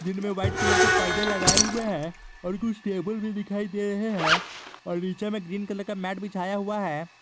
जिनमें white colour के पर्दे लगाए हुए हैं और कुछ टेबल भी दिखाई दे रहे हैं और नीचे में ग्रीन कलर का मैट बिछाया हुआ है।